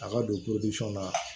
A ka don na